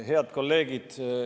Head kolleegid!